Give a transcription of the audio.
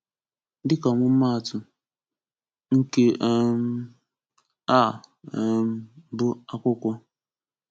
Dịka ọmụmaatụ: Nke um a um bụ akwụkwọ.